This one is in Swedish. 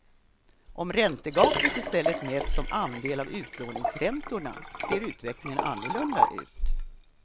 Om räntegapet i stället mäts som andel av utlåningsräntorna ser utvecklingen annorlunda ut.